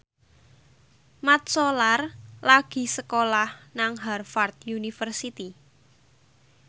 Mat Solar lagi sekolah nang Harvard university